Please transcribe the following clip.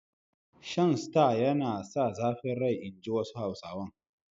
Shan Star yana sa zafin rai inji wasu Hausawan.